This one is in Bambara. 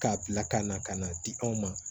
K'a bila ka na ka n'a di anw ma